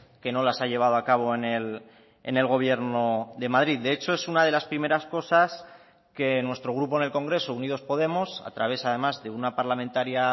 que no las ha llevado a cabo en el gobierno de madrid de hecho es una de las primeras cosas que nuestro grupo en el congreso unidos podemos a través además de una parlamentaria